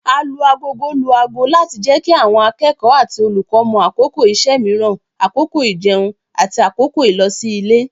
Alu-agogo lu ago láti jẹ́ kí àwọn akẹ́kọ̀ọ́ àti olùkọ́ mọ̀ àkókò iṣẹ́ mìíràn, àkókò ijẹun, àti àkókò ìlosí-ilé.